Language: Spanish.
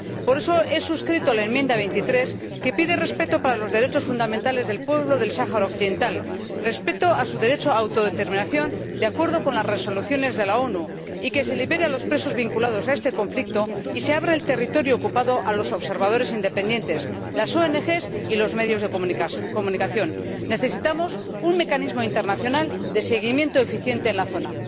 Por eso he suscrito la enmienda 23, que pide el respeto de los derechos fundamentales del pueblo del Sáhara Occidental, el respeto de su derecho a la autodeterminación de acuerdo con las resoluciones de las Naciones Unidas, la liberación de los presos vinculados a este conflicto y la apertura del territorio ocupado a los observadores independientes, las ONG y los medios de comunicación. Necesitamos un mecanismo internacional de seguimiento eficiente en la zona.